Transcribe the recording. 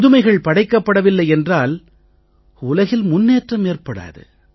புதுமைகள் படைக்கப்படவில்லை என்றால் உலகில் முன்னேற்றம் ஏற்படாது